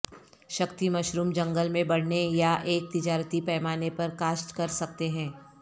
Shakti mushroom جنگل میں بڑھنے یا ایک تجارتی پیمانے پر کاشت کر سکتے ہیں